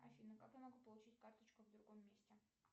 афина как я могу получить карточку в другом месте